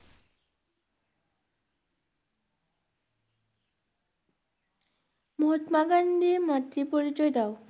মহাত্মা গান্ধীর মাতৃ পরিচয় দাও